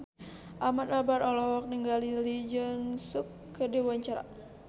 Ahmad Albar olohok ningali Lee Jeong Suk keur diwawancara